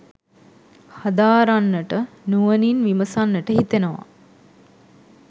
හදාරන්නට නුවණින් විමසන්නට හිතෙනවා